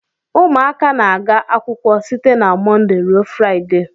Ụmụaka na-aga akwụkwọ site na Mọnde ruo Fraịde.